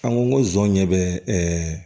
An ko zon ɲɛ bɛ